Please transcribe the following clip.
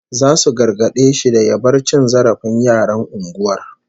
Zasu gargade shi da ya bar cin zarafin yaran unguwar